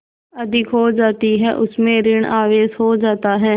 अधिक हो जाती है उसमें ॠण आवेश हो जाता है